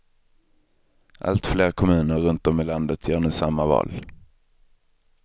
Alltfler kommuner runtom i landet gör nu samma val.